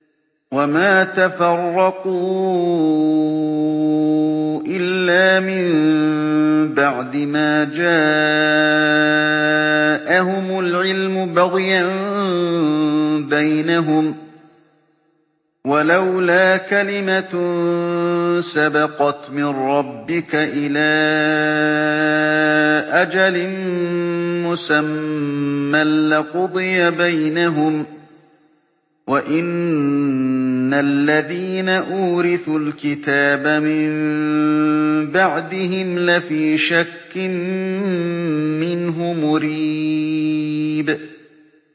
وَمَا تَفَرَّقُوا إِلَّا مِن بَعْدِ مَا جَاءَهُمُ الْعِلْمُ بَغْيًا بَيْنَهُمْ ۚ وَلَوْلَا كَلِمَةٌ سَبَقَتْ مِن رَّبِّكَ إِلَىٰ أَجَلٍ مُّسَمًّى لَّقُضِيَ بَيْنَهُمْ ۚ وَإِنَّ الَّذِينَ أُورِثُوا الْكِتَابَ مِن بَعْدِهِمْ لَفِي شَكٍّ مِّنْهُ مُرِيبٍ